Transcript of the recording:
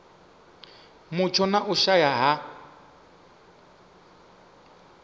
mutsho na u shaea ha